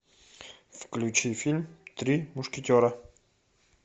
включи фильм три мушкетера